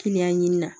Kiliyan ɲini na